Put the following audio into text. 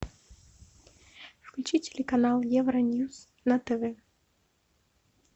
включи телеканал евроньюс на тв